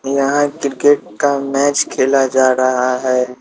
यहां क्रिकेट का मैच खेला जा रहा है।